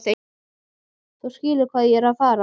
Þú skilur hvað ég er að fara.